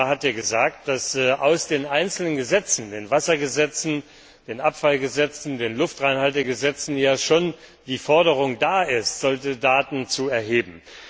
Der Kommissar hat ja gesagt, dass in den einzelnen Gesetzen den Wassergesetzen, den Abfallgesetzen, den Luftreinhaltegesetzen schon die Forderung steht, solche Daten zu erheben.